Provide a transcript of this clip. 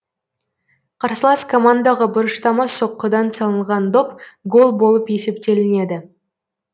қарсылас командаға бұрыштама соққыдан салынған доп гол болып есептелінеді